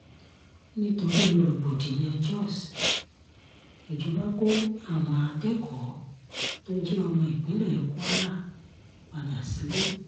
nítorí rògbòdìyàn jós ìjọba kó àwọn akẹ́kọ̀ọ́ tó jẹ́ ọmọ ìpínlẹ̀ kwara padà sílé